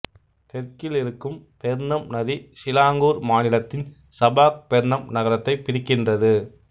தெற்கில் இருக்கும் பெர்ணம் நதி சிலாங்கூர் மாநிலத்தின் சபாக் பெர்ணம் நகரத்தைப் பிரிக்கின்றது